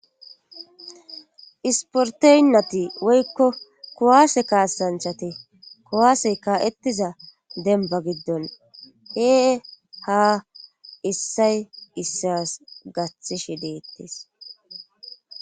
Isporteynati woykko kuwaase kaasanchate kowaasey kaa.ettiza demba giddon he ha issay issas gathishe deettes.